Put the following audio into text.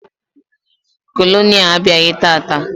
Kolonel abịaghị tata.